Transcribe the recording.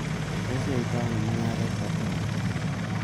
Tos iyoitoi ano mung'aret koterit?